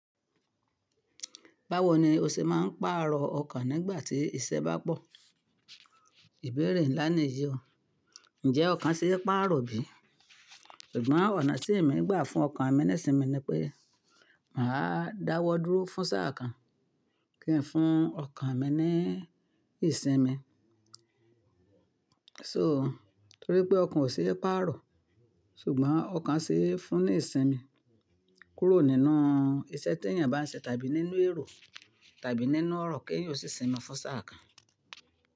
Báwo ni o ṣe máa ń pàrọ̀ ọkàn nígbà tí iṣẹ́ bá pọ̀? Ìbéèrè ńlá ni yìí o. Ǹjẹ́ ọkàn ṣe é pàrọ̀ bí? Ṣùgbọ́n ọ̀nà tí èmi ń gbà fún ọkàn mi nísinmi ni pé màá dáwọ́ dúró fún sáà kan kí n fún ọkàn mi ní ìsinmi. So, torí pé ọkàn ò ṣe é pàrọ̀, ṣùgbọ́n ọkàn ṣe é fún ní ìsinmi kúrò nínú iṣẹ́ tí èèyàn bá ń ṣe tàbí nínú èrò tàbí nínú ọ̀rọ̀ kí èèyàn ó sì sinmi fún sáà kan.